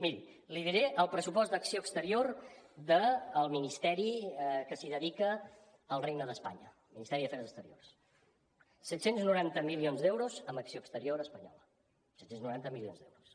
miri li diré el pressupost d’acció exterior del ministeri que s’hi dedica al regne d’espanya el ministeri d’afers exteriors set cents i noranta milions d’euros en acció exterior espanyola set cents i noranta milions d’euros